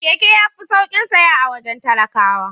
Keke yafi saukin saya a wajen talakawa.